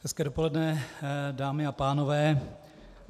Hezké dopoledne, dámy a pánové.